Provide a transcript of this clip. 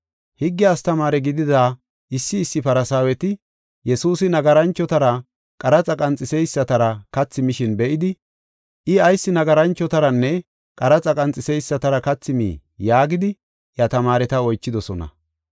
Higge astamaare gidida issi issi Farsaaweti Yesuusi nagaranchotaranne qaraxa qanxiseysatara kathi mishin be7idi, “I ayis nagaranchotaranne qaraxa qanxiseysatara kathi mii?” yaagidi, iya tamaareta oychidosona.